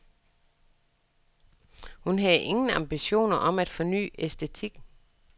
Hun havde ingen ambitioner om at forny æstetikken.